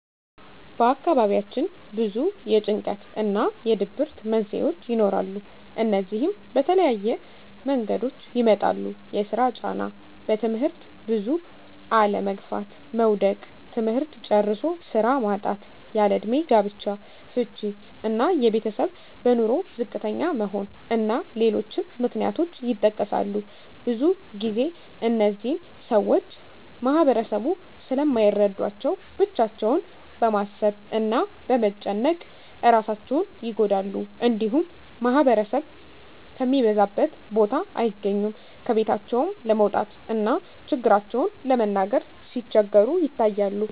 በአካባቢያችን ብዙ የጭንቀት እና የድብርት መንስሄዎች ይኖራሉ። እነዚህም በተለያየ መንገዶች ይመጣሉ የስራ ጫና; በትምህርት ብዙ አለመግፋት (መዉደቅ); ትምህርት ጨርሶ ስራ ማጣት; ያለእድሜ ጋብቻ; ፍች እና የቤተሰብ በኑሮ ዝቅተኛ መሆን እና ሌሎችም ምክንያቶች ይጠቀሳሉ። ብዙ ግዜ እነዚህን ሰወች ማህበረሰቡ ስለማይረዳቸው ብቻቸውን በማሰብ እና በመጨነቅ እራሳቸውን ይጎዳሉ። እንዲሁም ማህበረሰብ ከሚበዛበት ቦታ አይገኙም። ከቤታቸውም ለመውጣት እና ችግራቸውን ለመናገር ሲቸገሩ ይታያሉ።